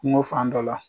Kungo fan dɔ la